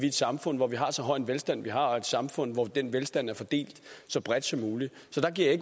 et samfund hvor vi har så høj en velstand som vi har og et samfund hvor den velstand er fordelt så bredt som muligt så der giver